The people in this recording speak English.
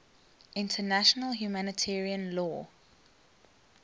international humanitarian law